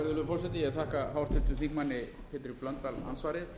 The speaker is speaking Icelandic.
virðulegur forseti ég þakka háttvirtum þingmanni pétri blöndal andsvarið